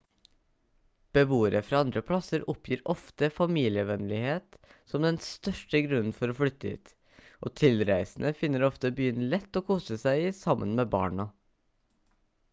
beboere fra andre plasser oppgir ofte familievennlighet som den største grunnen for å flytte dit og tilreisende finner ofte byen lett å kose seg i sammen med barna